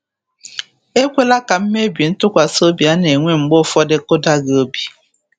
Ekwela ka mmebi ntụkwasị obi a na-enwe mgbe ụfọdụ kụdaa gị obi.